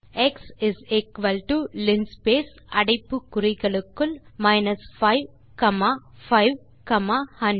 type செய்வோம் x is equal to linspace அடைப்பு குறிகளுக்குள் 5 காமா 5 காமா 100